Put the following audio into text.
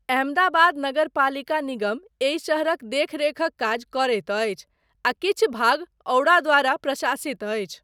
अहमदाबाद नगरपालिका निगम एहि शहरक देख रेखक काज करैत अछि आ किछु भाग औडा द्वारा प्रशासित अछि।